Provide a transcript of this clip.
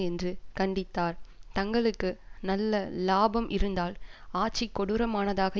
என்று கண்டித்தார் தங்களுக்கு நல்ல இலாபம் இருந்தால் ஆட்சி கொடூரமானதாக